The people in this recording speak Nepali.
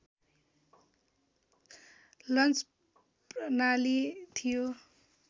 लन्च प्रणाली थियो